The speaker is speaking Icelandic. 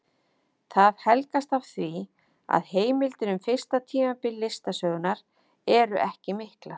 Það helgast af því að heimildir um fyrsta tímabil listasögunnar eru ekki miklar.